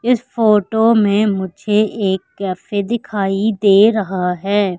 इस फोटो में मुझे एक कैफे दिखाई दे रहा हैं।